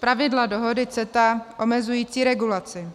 pravidla dohody CETA omezující regulaci.